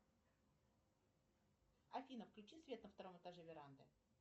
афина включи свет на втором этаже веранды